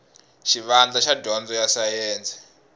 xivandla xa dyondzo ya sayense